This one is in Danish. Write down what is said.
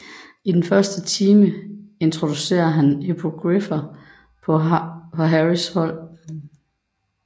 I den første time introducerer han hippogriffer for Harrys hold